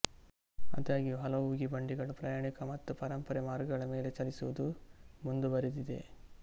ಆದಾಗ್ಯೂ ಹಲವು ಉಗಿಬಂಡಿಗಳು ಪ್ರಯಾಣಿಕ ಮತ್ತು ಪರಂಪರೆ ಮಾರ್ಗಗಳ ಮೇಲೆ ಚಲಿಸುವುದು ಮುಂದುವರೆದಿದೆ